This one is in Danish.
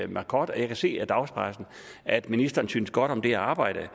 marcod og jeg kan se af dagspressen at ministeren synes godt om det arbejde